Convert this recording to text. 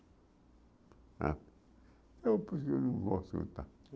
Ah eu porque eu não gosto contar.